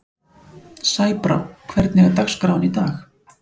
Sæbrá, hvernig er dagskráin í dag?